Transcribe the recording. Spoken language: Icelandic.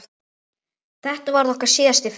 Þetta varð okkar síðasti fundur.